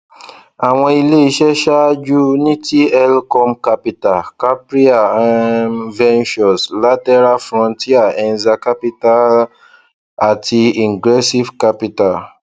àwọn ilé iṣẹ ṣáájú ni tlcom capital capria um ventures lateral frontier enza capital àti ingressive capital